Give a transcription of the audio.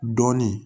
Dɔɔnin